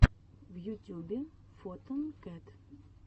в ютюбе фотон кэт